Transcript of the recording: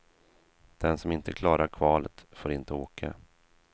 Den som inte klarar kvalet får inte åka.